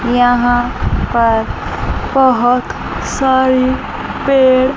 यहां पर बहोत सारे पेड़--